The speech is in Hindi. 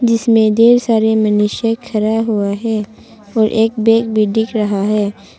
इसमें ढेर सारे मनुष्य खड़ा हुआ है और एक बैग भी दिख रहा है।